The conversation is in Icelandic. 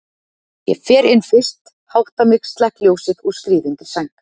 Ég fer inn fyrst, hátta mig, slekk ljósið og skríð undir sæng.